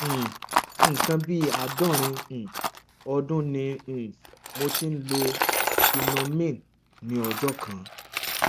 um nǹkan bí àádọrin um ọdún ni um mo ti ń lo tenormin ní ọjọ kan